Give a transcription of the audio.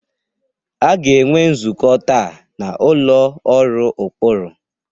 A ga-enwe nzukọ taa n'ụlọ ọrụ ụkpụrụ